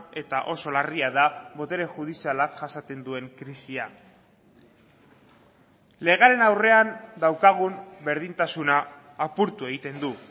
eta oso larria da botere judizialak jasaten duen krisia legearen aurrean daukagun berdintasuna apurtu egiten du